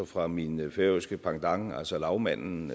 fra min færøske pendant altså lagmanden